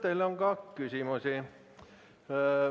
Teile on ka küsimusi.